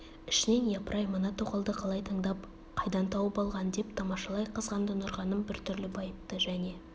ішінен япыр-ай мына тоқалды қалай таңдап қайдан тауып алған деп тамашалай қызғанды нұрғаным біртүрлі байыпты және